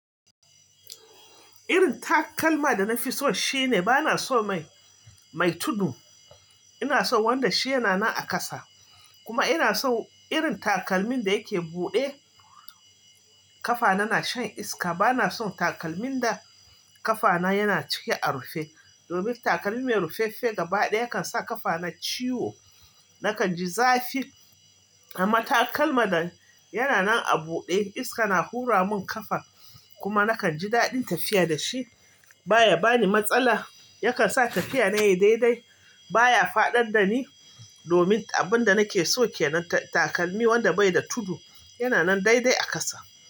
Irin takalma da na fi so shine bana son mai, mai tudu. Ina son wanda shi yana nan a kasa. Kuma ina son irin takalmin da yake buɗe ƙafana, na shan iska. Bana son takalmin da ƙafana yana ciki a rufe. Domin takalmi mai rufaffe gaba ɗaya yakan sa ƙafana ciwo. Nakan ji zafi, amma takalma da yana nan a buɗe iska na hura mun ƙafar kuma nakan ji daɗin tafiya da shi. Ba ya bani matsala. Yakan sa tafiya na yayi daidai. Ba ya faɗar da ni. Domin abin da nake so ke nan, takalmi wanda bai da tudu yana nan daidai a kasa.